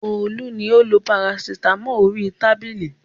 Olú ni ó ń lo parasítámọ̀ orí tábìlì.